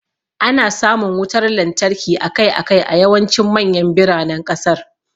Ana samun wutar lantarki akai-akai a yawancin manyan biranen kasar.